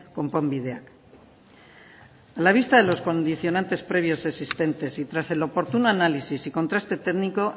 konponbideak a la vista de los condicionantes previos existentes y tras el oportuno análisis y contraste técnico